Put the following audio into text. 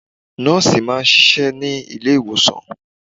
Nọ́ọ̀sì máa ń ṣiṣẹ́ ní ilé ìwòsàn.